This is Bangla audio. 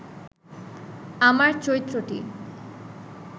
আমার চরিত্রটি